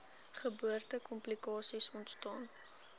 geboorte komplikasies ontstaan